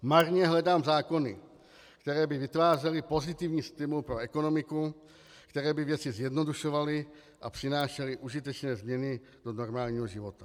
Marně hledám zákony, které by vytvářely pozitivní stimul pro ekonomiku, které by věci zjednodušovaly a přinášely užitečné změny do normálního života.